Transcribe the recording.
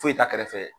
Foyi t'a kɛrɛfɛ